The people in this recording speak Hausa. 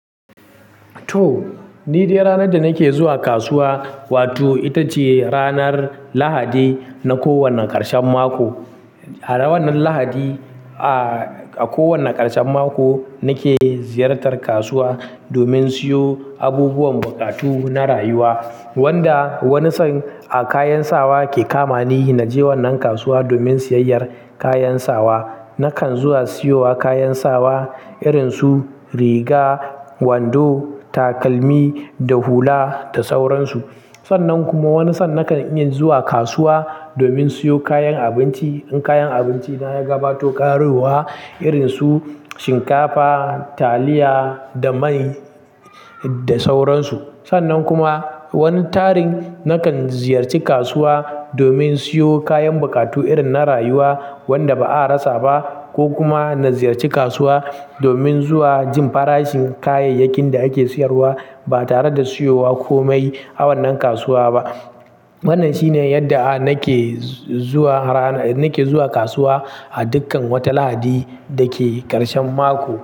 To, ni dai ranar da nake zuwa kasuwa wato ita ce ranar Lahadi na kowane ƙarshen mako. A wannan Lahadi, a kowane ƙarshen mako nake ziyartar kasuwa domin siyo abubuwan buƙatu na rayuwa wanda wani san a kayan sawa ke kamani na je wannan kasuwa domin siyayyar kayan sawa. Nakan zuwa siyowa kayan sawa irin su riga, wando, takalmi da hula da sauransu. Sannan kuma wani san nakan iya zuwa kasuwa domin siyo kayan abinci in kayan abinci na ya gabato ƙarowa irin su shinkafa, taliya da mai da sauransu. Sannan kuma wani tarin nakan ziyarci kasuwa domin siyo kayan buƙatu irin na rayuwa wanda ba a rasa ba ko kuma na ziyarci kasuwa domin zuwa jin farashin kayayyakin da ake siyarwa ba tare da siyowa ko mai wannan kasuwa ba. Wannan shine yadda na nake zuwa rana, nake zuwa kasuwa a dukkan wata Lahadi da ke ƙarshen mako.